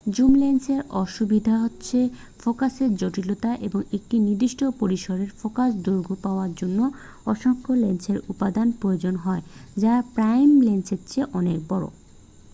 zoom লেন্সের অসুবিধা হচ্ছে ফোকাসের জটিলতা এবং একটি নির্দিষ্ট পরিসরের ফোকাল দৈর্ঘ্য পাওয়ার জন্য অসংখ্য লেন্সের উপাদান প্রয়োজন হয় যা প্রাইম লেন্সের চেয়ে অনেক বড়